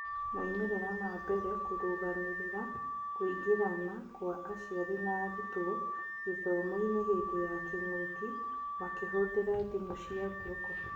moimĩrĩra mambere ma kũrũgamĩrĩra kũingĩrana kwa aciari na arutwo gĩthomo-inĩ hĩndĩ ya kĩng'ũki makĩhũthira thimũ cia guoko.